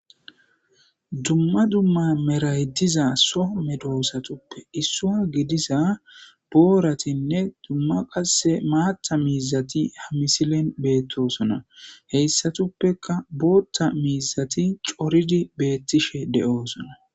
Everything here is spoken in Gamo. Dumma dumma meraydiza soo medoosatuppe issua gidiza booratinne dumma qae maatta miizati hamisilen beettosona heyssatuppeka bootta miizati coridi beettishe de'oosona.